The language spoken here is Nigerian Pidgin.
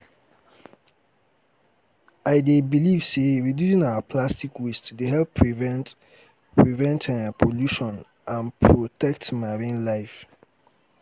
i dey believe say um reducing our plastic waste dey help prevent um prevent um pollution and protect marine life. um